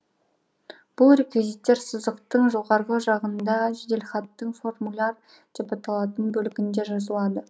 бұл реквизиттер сызықтың жоғарғы жағына жеделхаттың формуляр деп алатын бөлігінде жазылады